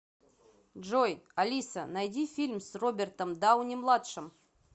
джой алиса найди фильм с робертом дауни младшим